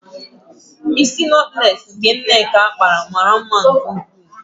Ísí nọtlees Nneka kpara mara mma nke ukwuu.